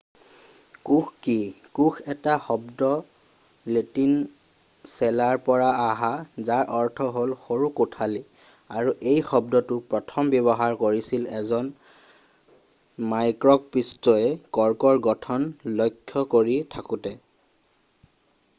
কোষ কি কোষ শব্দটো লেটিন শব্দ চেলা'ৰ পৰা অহা যাৰ অৰ্থ হ'ল সৰু কোঠালি' আৰু এই শব্দটো প্ৰথম ব্যৱহাৰ কৰিছিল এজন মাইক্ৰকঁপিষ্টয়ে কৰ্কৰ গঠন লক্ষ্য কৰি থাকোতে